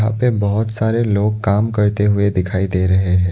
पे बहुत सारे लोग काम करते हुए दिखाई दे रहे हैं।